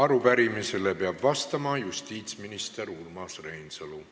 Arupärimisele peab vastama justiitsminister Urmas Reinsalu.